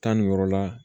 Tan ni yɔrɔ la